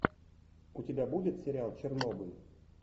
у тебя будет сериал чернобыль